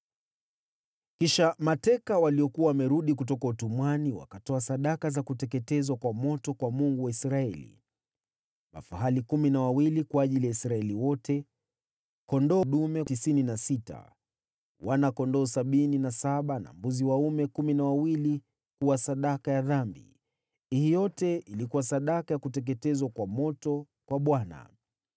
Kisha mateka waliokuwa wamerudi kutoka utumwani wakatoa sadaka za kuteketezwa kwa moto kwa Mungu wa Israeli: mafahali kumi na wawili kwa ajili ya Israeli wote, kondoo dume tisini na sita, wana-kondoo sabini na saba na mbuzi dume kumi na wawili kuwa sadaka ya dhambi. Hii yote ilikuwa sadaka ya kuteketezwa kwa moto kwa Bwana .